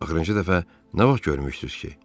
Axırıncı dəfə nə vaxt görmüşdünüz ki?